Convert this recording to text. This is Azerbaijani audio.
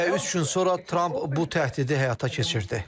Və üç gün sonra Tramp bu təhdidi həyata keçirdi.